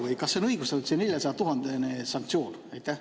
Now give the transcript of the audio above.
Või kas see on õigustatud, see neljasajatuhandene sanktsioon?